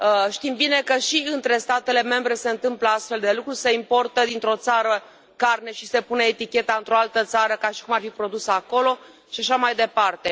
Știm bine că și între statele membre se întâmplă astfel de lucruri se importă dintr o țară carne și se pune eticheta într o altă țară, ca și cum ar fi produsă acolo și așa mai departe.